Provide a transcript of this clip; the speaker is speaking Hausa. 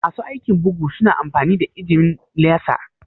Masu aikin bugu su na amfani da injimin laser?